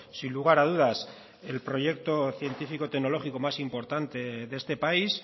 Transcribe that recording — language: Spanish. sin lugar a dudas el proyecto científico tecnológico más importante de este país